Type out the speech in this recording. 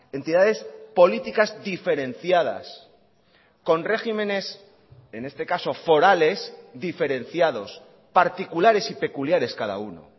entidades políticas diferenciadas con regímenes en este caso forales diferenciados particulares y peculiares cada uno